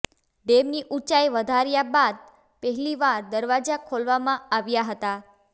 ડેમની ઊંચાઈ વધાર્યા બાદ પહેલીવાર દરવાજા ખોલવામાં આવ્યા હતા